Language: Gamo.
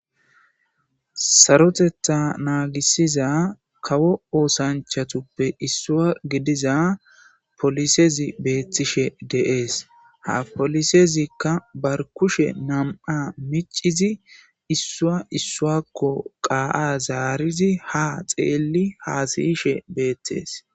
Sarotetta naagisiza kawo oosanchatuppe issua gidiza polisezi beettishe deees ha polisezikka barkushe nam7a micizi issua issuakko qaa7a zaarizi ha xeelli haasayishe beettees.